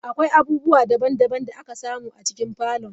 Akwai abubuwa daban-daban da aka samu a cikin falon.